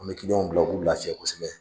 An bɛ w bila u k'u lafiya kosɛbɛ.